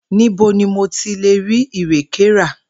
Níbo ni mo ti lè rí ìrèkè ra?